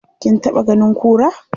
Kin taɓa ganin kura?